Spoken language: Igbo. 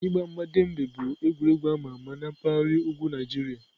Igba mgba Dembe bụ egwuregwu ama ama na mpaghara ugwu Nigeria